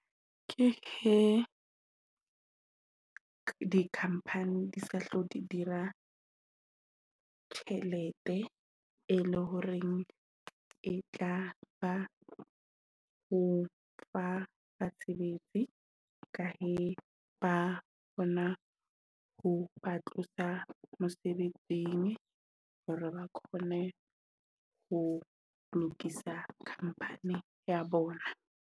Ke he di-company di sa tlo dira tjhelete e le horeng e tla ba ho fa basebetsi ka e ba bona ho ba tlosa mosebetsing hore ba kgone ho lokisa company ya bona.